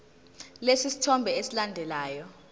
lesi sithombe esilandelayo